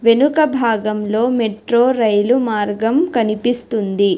వెనుక భాగంలో metro rail మార్గం కనిపిస్తుంది.